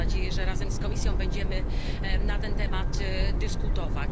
Mam nadzieję, że razem z Komisją będziemy na ten temat dyskutować.